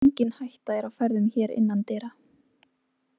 Engin hætta er á ferðum hér innan dyra.